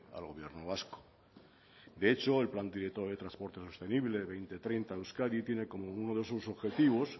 al gobierno vasco de hecho el plan director de transporte sostenible dos mil treinta de euskadi tiene como uno de sus objetivos